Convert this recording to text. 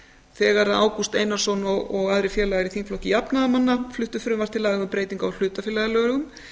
þegar ágúst einarsson og aðrir félagar í þingflokki jafnaðarmanna frumvarp til laga um breytingu á hlutafélagalögum